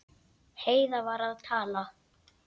Heiða var að tala.